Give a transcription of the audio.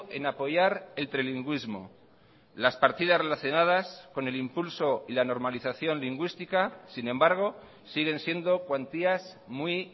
en apoyar el trilingüismo las partidas relacionadas con el impulso y la normalización lingüística sin embargo siguen siendo cuantías muy